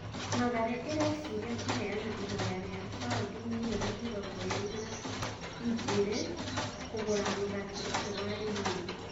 Mathare ĩreciria kũheana ihoya rĩa baũndi mirioni mĩrongo ĩrĩ na igĩrĩ kũgũra mũthaki ũcio wa Limuru.